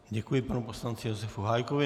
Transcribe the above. Děkuji panu poslanci Josefu Hájkovi.